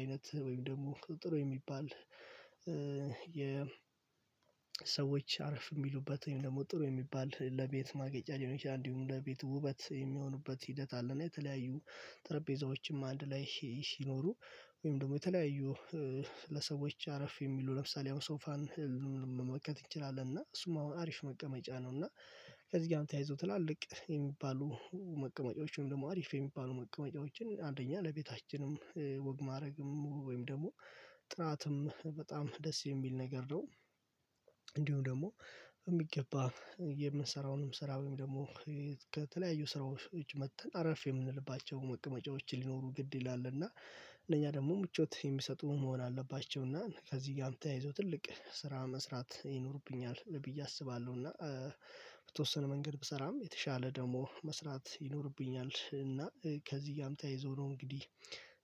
አይነት ወይም ደግሞ ጥሩ የሚባል የሰዎች አረፍ የሚሉበትን ወይም ደግሞ ጥሩ የሚባል ለቤት ማጌጫ ሊሆን ይችላል። እንዲሁም ለቤቱ ውበት የሚሆኑበት ሂደት አለና የተለያዩ ጠረጴዛዎችም አንድ ላይ ሲኖሩ ወይም ደግሞ የተለያዩ ለሰዎች አረፍ የሚሉ ለምሳሌ ያው ሶፋን መመልከት እንችላለን። እና እሱም አሁን አሪፍ መቀመጫ ነው። እና ከዚህ ጋር ተያይዞ ትላልቅ የሚባሉ መቀመጫዎች ወይም ደግሞ አሪፍ የሚባሉ መቀመጫዎችን አንደኛ ለቤታችንም ወግ ማረግም ወይም ደግሞ ጥራትም በጣም ደስ የሚል ነገር ነው። እንዲሁም ደግሞ በሚገባ የምንሰራውንም ስራ ወይም ደግሞ ከተለያዩ ስራዎች ከውጭ መጥተን አረፍ የምንልባቸውን መቀመጫዎች ሊኖሩ ግድ ይላል። እና እነኛ ደግሞ ምቾት የሚሰጡ መሆን አለባቸው እና ከዚህ ጋርም ተያይዞ ትልቅ ስራ መስራት ይኖርብኛል ብዬ አስባለሁ። እና በተወስነ መንገድ ብሰራም የተሻለ ደግሞ መስራት ይኖርብኛል። እና ከዚህ ጋርም ተይይዞ ነው እንግዲህ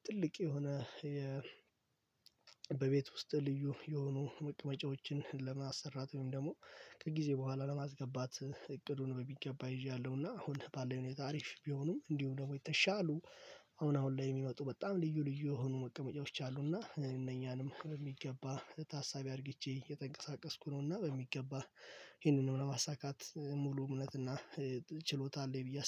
ትልቅ የሆነ በቤት ውስጥ ልዩ የሆኑ መቅመጫዎችን ለማሰራት ወይም ደግሞ ከጊዜ በኋላ ለማስገባት እቅዱን በሚገባ ይዣለሁና። አሁን ባለኝ ሁኔታ አሪፍ ቢሆኑም እንዲሁ ደግሞ የተሻሉ አሁን አሁን ላይ የሚመጡ በጣም ልዩ ልዩ የሆኑ መቀመጫዎች አሉና እነኛንም በሚገባ ታሳቢ አድርጊቼ የተንቀሳቀስኩ ነውና። በሚገባ ይሄንን ለማሳካት ሙሉ እምነት እና ችሎታ አለኝ ብዬ አስባለሁ